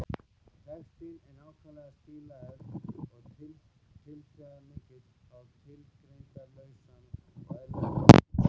Textinn er nákvæmlega stílaður og tilþrifamikill á tilgerðarlausan og eðlilegan hátt.